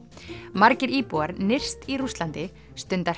margir íbúar nyrst í Rússlandi stunda